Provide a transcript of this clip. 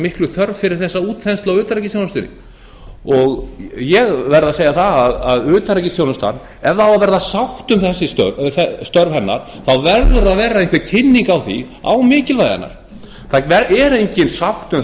miklu þörf fyrir þessa útþenslu á utanríkisþjónustunni ég verð að segja það að utanríkisþjónustan ef það á að verða sátt um störf hennar verður að vera einhver kynning á mikilvægi hennar það er engin sátt um